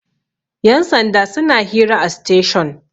yansanda suna hira a station